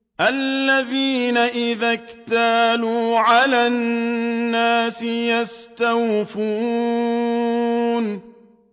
الَّذِينَ إِذَا اكْتَالُوا عَلَى النَّاسِ يَسْتَوْفُونَ